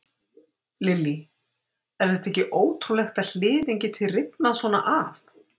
Lillý: Er þetta ekki ótrúlegt að hliðin geti rifnað svona af?